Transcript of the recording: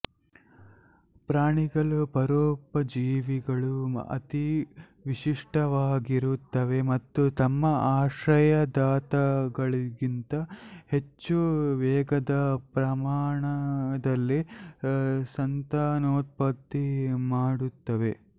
ಪ್ರಾಣಿಗಳ ಪರೋಪಜೀವಿಗಳು ಅತಿ ವಿಶಿಷ್ಟವಾಗಿರುತ್ತವೆ ಮತ್ತು ತಮ್ಮ ಆಶ್ರಯದಾತಗಳಿಗಿಂತ ಹೆಚ್ಚು ವೇಗದ ಪ್ರಮಾಣದಲ್ಲಿ ಸಂತಾನೋತ್ಪತ್ತಿ ಮಾಡುತ್ತವೆ